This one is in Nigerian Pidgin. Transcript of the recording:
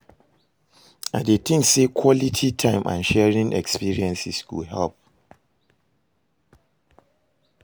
I dey think say quality time and sharing experiences go help.